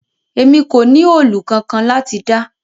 Emi ko ni òòlù kankan lati da